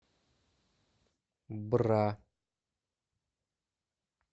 бра